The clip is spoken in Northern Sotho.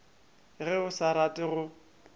ge a sa rate go